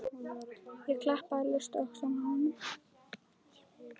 Ég klappaði laust á öxlina á honum.